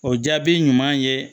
O jaabi ɲuman ye